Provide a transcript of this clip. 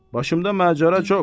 Başımda macəra çox.